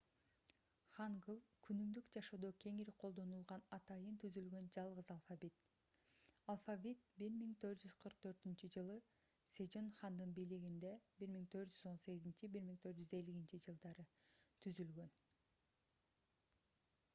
хангыль — күнүмдүк жашоодо кеңири колдонулган атайын түзүлгөн жалгыз алфавит. алфавит 1444-жылы сежон хандын бийлигинде 1418–1450 түзүлгөн